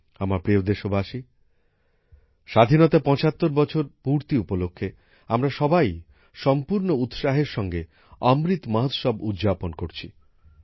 আমার প্রিয় দেশবাসী স্বাধীনতার ৭৫ বছর পূর্তি উপলক্ষে আমরা সবাই সম্পূর্ণ উৎসাহের সঙ্গে অমৃত মহোৎসব উদ্যাপন করছি